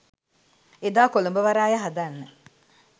එදා කොළඹ වරාය හදන්න